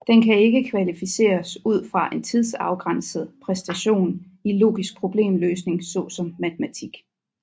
Den kan ikke kvantificeres ud fra en tidsafgrænset præstation i logisk problemløsning såsom matematik